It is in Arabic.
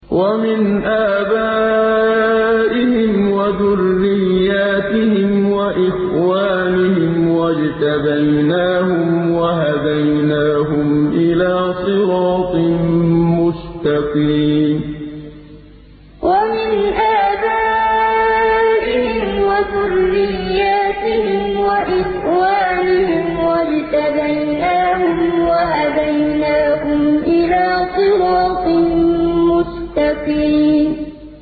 وَمِنْ آبَائِهِمْ وَذُرِّيَّاتِهِمْ وَإِخْوَانِهِمْ ۖ وَاجْتَبَيْنَاهُمْ وَهَدَيْنَاهُمْ إِلَىٰ صِرَاطٍ مُّسْتَقِيمٍ وَمِنْ آبَائِهِمْ وَذُرِّيَّاتِهِمْ وَإِخْوَانِهِمْ ۖ وَاجْتَبَيْنَاهُمْ وَهَدَيْنَاهُمْ إِلَىٰ صِرَاطٍ مُّسْتَقِيمٍ